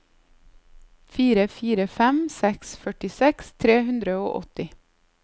fire fire fem seks førtiseks tre hundre og åtti